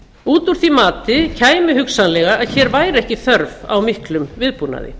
út úr því mati kæmi hugsanlega að hér væri ekki þörf á miklum viðbúnaði